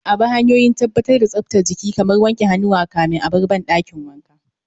A bi hanyoyin tabbatar da tsaftar jiki kamar wanke hannuwa kafin a bar dakin wanka